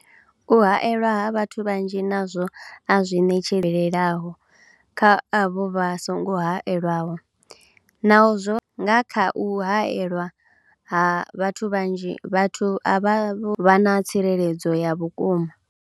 U haelwa ha vhathu vhanzhi nazwo a zwi ṋetshedzi lelaho kha avho vha songo haelwaho, Naho zwo, nga kha u haelwa ha vhathu vhanzhi, vhathu avha vha na tsireledzo ya vhukuma.